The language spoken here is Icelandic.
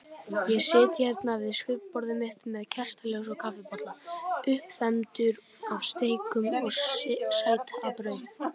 Ég sit hérna við skrifborðið mitt með kertaljós og kaffibolla, uppþembdur af steikum og sætabrauði.